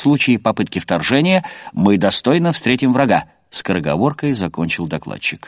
в случае попытки вторжения мы достойно встретим врага скороговоркой закончил докладчик